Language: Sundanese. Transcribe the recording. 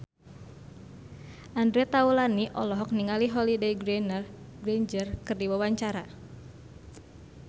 Andre Taulany olohok ningali Holliday Grainger keur diwawancara